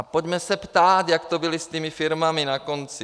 A pojďme se ptát, jak to bylo s těmi firmami na konci.